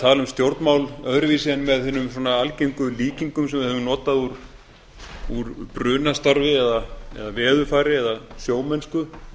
tala um stjórnmál öðruvísi en með hinum algengu líkinga sem við höfum notað úr brunastarfi eða veðurfari eða sjómennsku